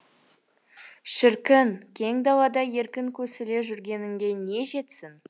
шіркін кең далада еркін көсіле жүгіргенге не жетсін